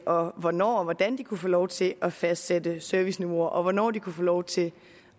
og hvornår og hvordan de kunne få lov til at fastsætte serviceniveauer og hvornår de kunne få lov til